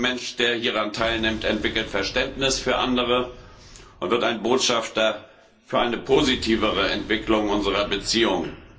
Jeder junge Mensch, der hieran teilnimmt, entwickelt Verständnis für andere und wird ein Botschafter für eine positivere Entwicklung unserer Beziehungen.